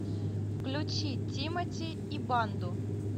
включи тимати и банду